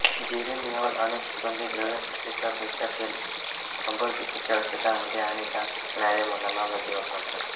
geraniol अनेक सुगंधी द्रव्यांसाठी तर रोशा तेल कंबरदुखीच्या औषधांमध्ये आणि डास पिटाळणाऱ्या मलमांमध्ये वापरतात